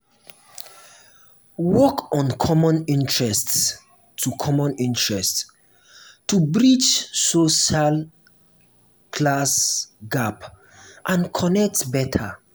work on common interests to common interests to bridge social class gap and connect better.